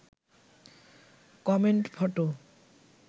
comment photo